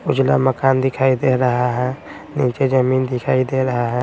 उजला मकान दिखाई दे रहा है नीचे जमीन दिखाई दे रहा है।